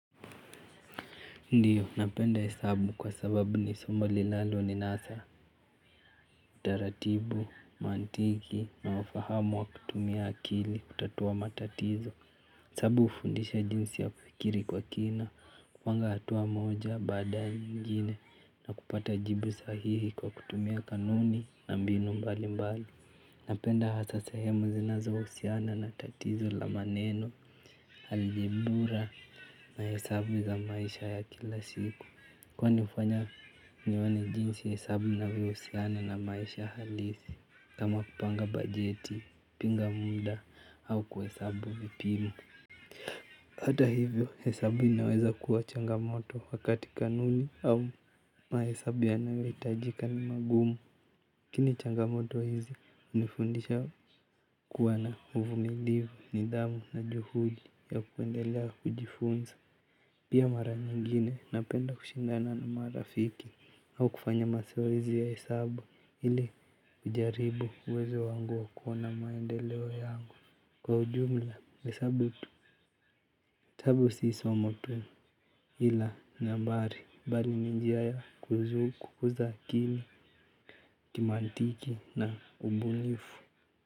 Ndiyo napenda hesabu kwa sababu ni somo linaloninasa utaratibu, mantiki na ufahamu wa kutumia akili kutatua matatizo. Hesabu hufundisha jinsi ya kufikiri kwa kina, kupanga hatua moja, baada nyingine na kupata jibu sahihi kwa kutumia kanuni na mbinu mbali mbali. Napenda hasa sehemu zinazohusiana na tatizo lanmaneno, algebura na hesabu za maisha ya kila siku. Kwani ufanya nione jinsi hesabu inavyohusiana na maisha halisi kama kupanga bajeti, kupinga muda au kuhesabu vipimo. Hata hivyo hesabu inaweza kuwa changamoto wakati kanuni au mahesabu yanayohitajika ni magumu lakini changamoto hizi hunifundisha kuwa na uvumilivu, nidhamu na juhudi ya kuendelea kujifunza. Pia mara nyingine napenda kushindana na marafiki au kufanya mazoezi ya hesabu ili kujaribu uwezo wangu wa kuona maendeleo yangu. Kwa ujumla hesabu tu. Hesabu si somo ila nambari, mbali ni njia ya kukuza akili kimantiki na ubunifu.